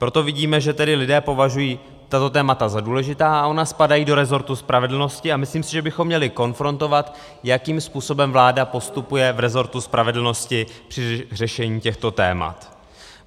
Proto vidíme, že tedy lidé považují tato témata za důležitá, a ona spadají do resortu spravedlnosti a myslím si, že bychom měli konfrontovat, jakým způsobem vláda postupuje v resortu spravedlnosti při řešení těchto témat.